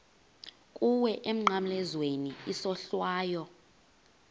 kuwe emnqamlezweni isohlwayo